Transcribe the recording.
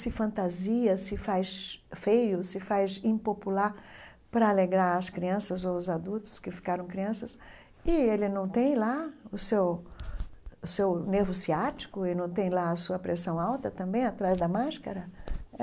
se fantasia, se faz feio, se faz impopular para alegrar as crianças ou os adultos que ficaram crianças e ele não tem lá o seu o seu nervo ciático e não tem lá a sua pressão alta também atrás da máscara?